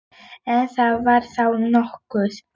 Ef það var þá nokkuð.